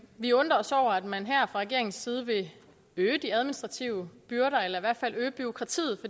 vi undrer os over at man her fra regeringens side vil øge de administrative byrder eller i hvert fald øge bureaukratiet